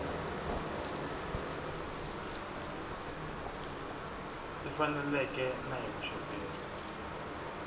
swi faneleke na hi vuxoperi